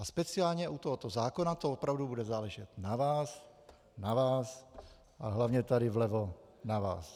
A speciálně u tohoto zákona to opravdu bude záležet na vás, na vás a hlavně tady vlevo na vás.